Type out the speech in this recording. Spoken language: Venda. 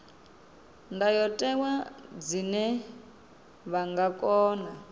ndayotewa zwine vha nga kona